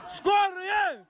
скорый әй